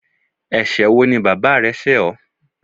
Ẹsẹ̀ wo ni bàbá rẹ ṣẹ ọ?